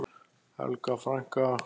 Helga frænka.